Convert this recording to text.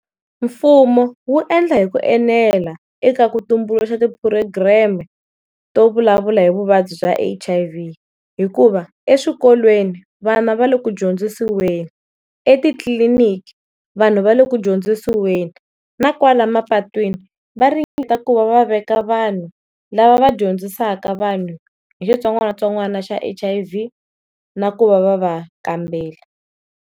Mfumo wu endla hi ku enela eka ku tumbuluxa ti program-e to vulavula hi vuvabyi bya H_I_V, hikuva eswikolweni vana va le ku dyondzisiweni, etitliliniki vanhu va le ku dyondzisiweni, na kwala mapatwini va ringeta ku va va veka vanhu lava va vadyondzisaka vanhu hi xitsongwatsongwana xa H_I_V na ku va va va kambela.